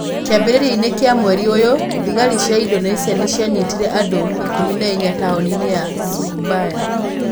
Kĩambĩrĩria-inĩ kĩa mweri ũyũ, thigari cia Indonesia nĩ cianyitire andũ 14 taũni-inĩ ya Surabaya.